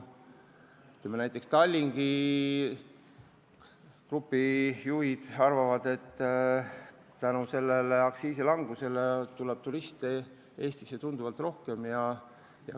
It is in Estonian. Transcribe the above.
Samas näiteks Tallink Grupi juhid arvavad, et tänu sellele aktsiisilangusele tuleb Soomest Eestisse tunduvalt rohkem turiste.